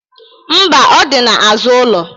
Mba, ọ dị n'azụ ụlọ.